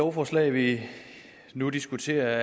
lovforslag vi nu diskuterer er